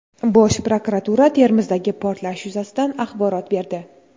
Bosh prokuratura Termizdagi portlash yuzasidan axborot berdi.